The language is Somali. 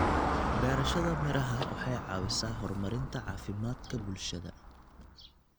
Beerashada miraha waxay caawisaa horumarinta caafimaadka bulshada.